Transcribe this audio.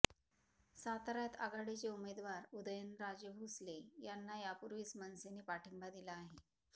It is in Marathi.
साताऱ्यात आघाडीचे उमेदवार उदयनराजे भोसले यांना यापूर्वीच मनसेने पाठिंबा दिला आहे